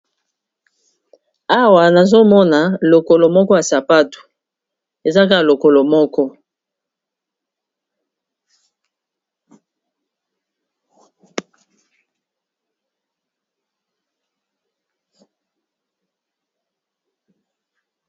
Awa nazomona lokolo moko ya sapato ezaka lokolo moko.